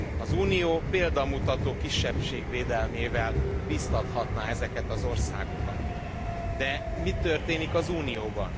Az Unió példamutató kisebbségvédelmével biztathatná ezeket az országokat, de mi történik az Unióban?